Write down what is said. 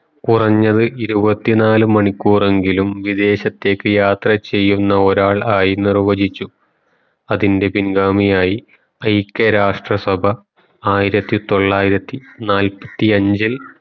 കുറഞ്ഞത് ഒരുവത്തിനാൽ മണിക്കൂറെങ്കിലും വിദേശത്തേക്കു യാത്ര ചെയുന്ന ഒരാളായി നിർവചിച്ചു അതിന്റെ പിൻഗാമിയായി ഐക്യ രാഷ്ട്ര സഭ ആയിരത്തി തൊള്ളായിരത്തി നാല്പത്തി അഞ്ചിൽ